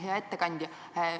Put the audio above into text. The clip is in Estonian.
Hea ettekandja!